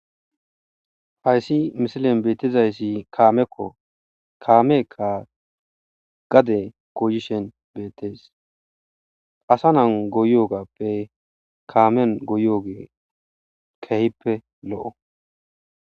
hayssi misilen beettizayssi kaamekko kaameekka gade gooyishen beettees asa nan goyogappe kaamen goyogee kehippe lo7o